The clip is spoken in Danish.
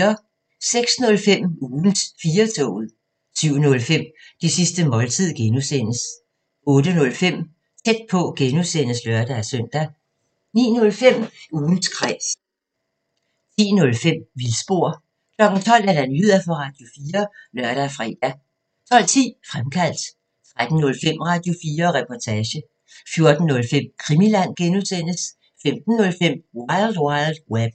06:05: Ugens 4-toget 07:05: Det sidste måltid (G) 08:05: Tæt på (G) (lør-søn) 09:05: Ugens Kræs 10:05: Vildspor 12:00: Nyheder på Radio4 (lør-fre) 12:10: Fremkaldt 13:05: Radio4 Reportage 14:05: Krimiland (G) 15:05: Wild Wild Web